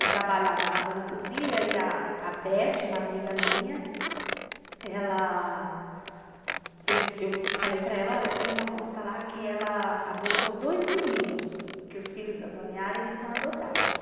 Eu trabalhava na dona Luzia e a Vete, uma amiga minha, ela... eu falei para ela, olha, tem uma moça lá que ela adotou dois meninos, que os filhos da dona Yara, eles são adotados.